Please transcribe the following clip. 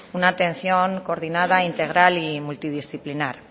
una atención coordinada integral y multidisciplinar